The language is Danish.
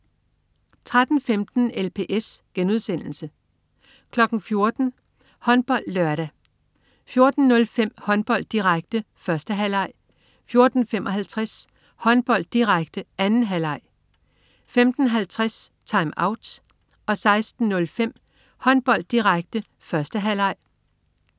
13.15 LPS* 14.00 HåndboldLørdag 14.05 Håndbold, direkte, 1. halvleg 14.55 Håndbold, direkte, 2. halvleg 15.50 TimeOut 16.05 Håndbold, direkte, 1. halvleg